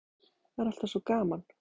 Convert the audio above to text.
Það er allt svo gaman.